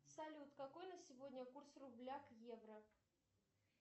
салют какой на сегодня курс рубля к евро